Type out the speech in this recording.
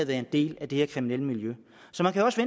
været en del af det her kriminelle miljø så man kan også